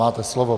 Máte slovo.